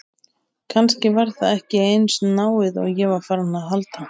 Kannski var það ekki eins náið og ég var farinn að halda!